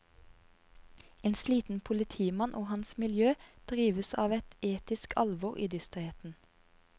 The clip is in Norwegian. En sliten politimann og hans miljø drives av et etisk alvor i dysterheten.